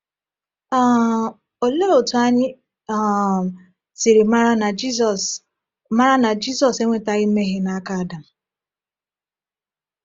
um Olee otú anyị um siri mara na Jizọs mara na Jizọs enwetaghị mmehie n’aka Adam?